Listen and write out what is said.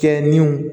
Kɛ ni